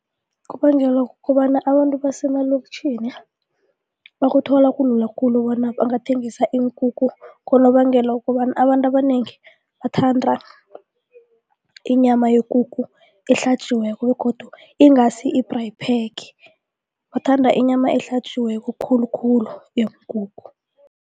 Kubangelwa kukobana abantu basemaloktjhini bakuthole kulula khulu bona bangathengisa iinkukhu. Ngonobangela wokobana abantu abanengi bathanda inyama yekukhu ehlatjiweko begodu ingasi i-braai pack bathanda inyama ehlatjiweko khulukhulu yeenkukhu.